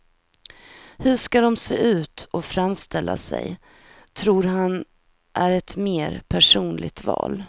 Hur de ska se ut och framställa sig tror han är ett mer personligt val.